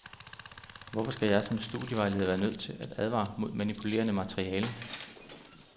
Hvorfor skal jeg som studievejleder være nødt til at advare mod manipulerende materiale.